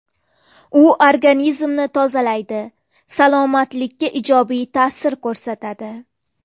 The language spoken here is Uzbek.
U organizmni tozalaydi, salomatlikka ijobiy ta’sir ko‘rsatadi.